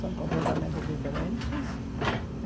São completamente diferentes.